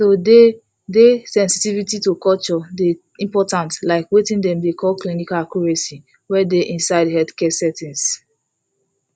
to dey dey sensitivity to culture dey important like weting dem dey call clinical accuracy wey dey inside healthcare settings